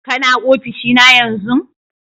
Kana ofishi na yanzun?